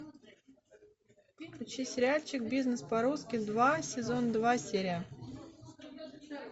включи сериальчик бизнес по русски два сезон два серия